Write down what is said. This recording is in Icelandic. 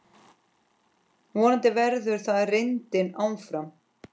Vonandi verður það reyndin áfram.